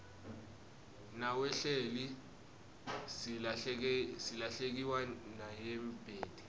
nawehlile silahlekewa nayimdebeti